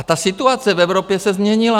A ta situace v Evropě se změnila.